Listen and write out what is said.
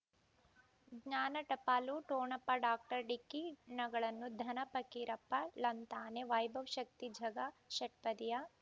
ಜ್ಞಾನ ಟಪಾಲು ಠೊಣಪ ಡಾಕ್ಟರ್ ಢಿಕ್ಕಿ ಣಗಳನು ಧನ ಪಕೀರಪ್ಪ ಳಂತಾನೆ ವೈಭವ್ ಶಕ್ತಿ ಝಗಾ ಷಟ್ಪದಿಯ